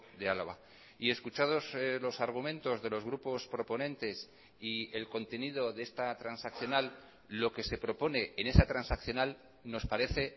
de álava y escuchados los argumentos de los grupos proponentes y el contenido de esta transaccional lo que se propone en esa transaccional nos parece